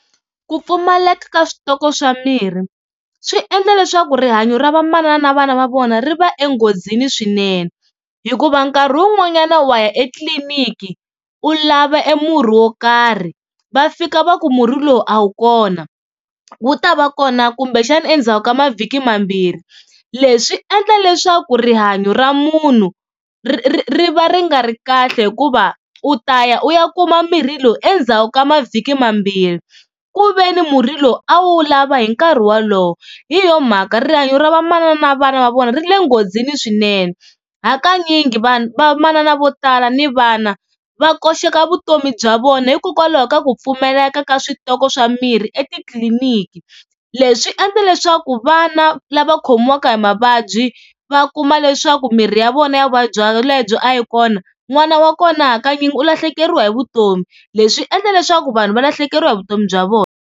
Ku pfumaleka ka switoko swa mirhi, swi endla leswaku rihanyo ra vamanana na vana va vona ri va enghozini swinene hikuva nkarhi wun'wanyana wa ya etliliniki u lava e murhi wo karhi va fika va ku murhi lowu a wu kona wu ta va kona kumbexana endzhaku ka mavhiki mambirhi. Leswi swi endla leswaku rihanyo ra munhu ri va ri nga ri kahle hikuva u ta ya u ya kuma mirhi lowu endzhaku ka mavhiki mambirhi ku veni murhi lowu a wu lava hi nkarhi wolowo. Hi yo mhaka rihanyo ra vamanana na vana va vona ri le nghozini swinene hakanyingi vanhu vamanana vo tala ni vana va koxeka vutomi bya vona hikokwalaho ka ku pfumaleka ka switoko swa mirhi etitliliniki. Leswi swi endla leswaku vana lava khomiwaka hi mavabyi va kuma leswaku mirhi ya vona ya vuvabyi lebyo a yi kona n'wana wa kona hakanyingi u lahlekeriwa hi vutomi leswi swi endla leswaku vanhu va lahlekeriwa hi vutomi bya vona.